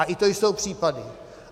A i to jsou případy.